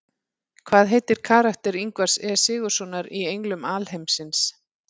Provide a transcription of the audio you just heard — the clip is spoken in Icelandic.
Hvað heitir karakter Ingvars E Sigurðssonar í Englum alheimsins?